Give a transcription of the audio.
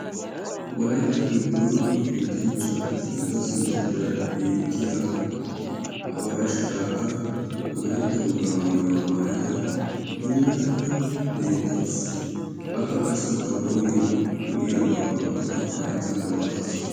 wolaytta giddon yetancha geetetada sintta xeeraara beetiya Aberashi Gaaga wolaytta wogaa maayuwa maaayada puulatada beetawusu akka qasi ba qooriyan lo'iyaba wotada ba hayttankka wotaasu.